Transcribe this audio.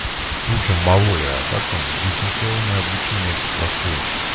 суши малой а как там дистанционное обучение это проходит